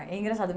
É engraçado.